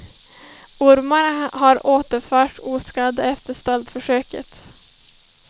Ormarna har återförts oskadda efter stöldförsöket.